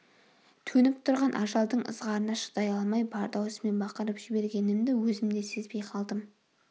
төніп тұрған ажалдың ызғарына шыдай алмай бар даусыммен бақырып жібергенімді өзім де сезбей қалдым